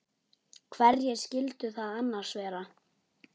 Hverjir skyldu það annars vera?